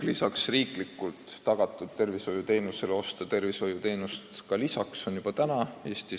Riiklikult tagatud arstiabile lisaks saab tervishoiuteenust Eestis ka praegu osta.